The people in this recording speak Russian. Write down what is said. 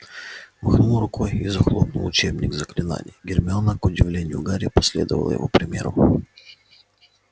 махнул рукой и захлопнул учебник заклинаний гермиона к удивлению гарри последовала его примеру